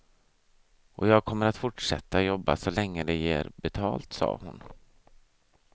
Och jag kommer att fortsätta jobba så länge det ger betalt, sade hon.